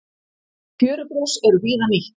Fjörugrös eru víða nýtt.